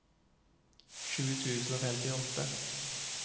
sju tusen og femtiåtte